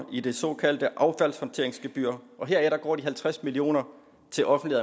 i det såkaldte affaldshåndteringsgebyr og heraf går de halvtreds millioner til offentlig